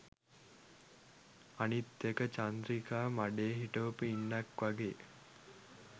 අනිත් එක චන්ද්‍රිකා මඩේ හිටවපු ඉන්නක් වගේ